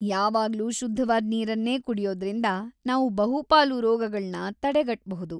‌ಯಾವಾಗ್ಲೂ ಶುದ್ಧವಾದ್ ನೀರನ್ನೇ ಕುಡ್ಯೋದ್ರಿಂದ ನಾವು ಬಹುಪಾಲು ರೋಗಗಳ್ನ ತಡೆಗಟ್ಬಹುದು.